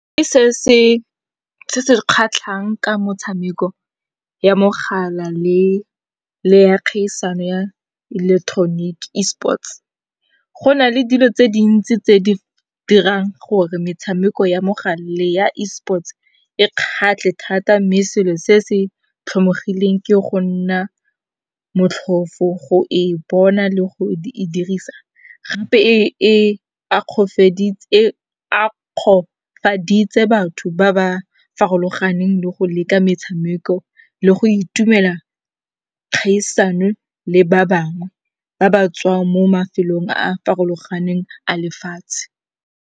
Se se re kgatlhang ka motshameko ya mogala le ya kgaisano ya electronic Esports, go na le dilo tse dintsi tse di dirang gore metshameko ya mogala le ya Esports e kgatlhe thata mme selo se se tlhomogileng ke go nna motlhofo go e bona le go e dirisa. Gape e akgofaditse batho ba ba farologaneng le go leka metshameko le go itumela kgaisano le ba bangwe ba ba tswang mo mafelong a a farologaneng a lefatshe.